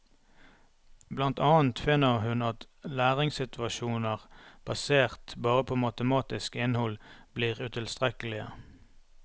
Blant annet finner hun at læringssituasjoner basert bare på matematisk innhold, blir utilstrekkelige.